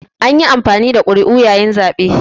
An yi amfani da ƙuri'u yayin zaɓe